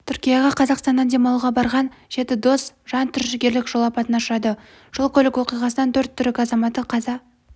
түркияға қазақстаннан демалуға барған жеті дос жантүршігерлік жол апатына ұшырады жол-көлік оқиғасынан төрт түрік азаматы қаза